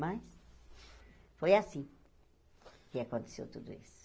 Mas foi assim que aconteceu tudo isso.